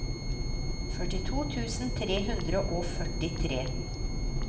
førtito tusen tre hundre og førtitre